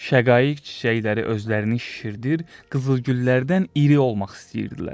Şəqaiq çiçəkləri özlərini şişirdir, qızıl güllərdən iri olmaq istəyirdilər.